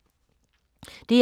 DR2